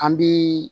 An bi